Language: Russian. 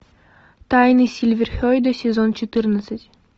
тайны сильверхейда сезон четырнадцать